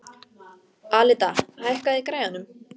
Alida, hækkaðu í græjunum.